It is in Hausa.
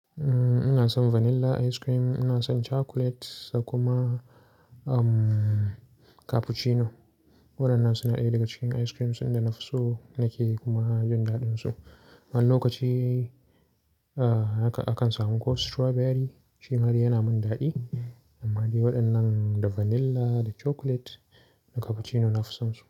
Ina son vanilla ice cream, ina son chocolate da kuma cappuccino. Waɗannan suna ɗaya daga cikin ice creams in da nafi so nake kuma jin daɗinsu. Wani lokaci akan samu ko strawberry shi ma yana min daɗi. Amma dai waɗannan da vanilla, da chocolate da cappuccino nafi sonsu.